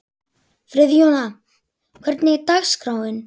Friðjóna, hvernig er dagskráin?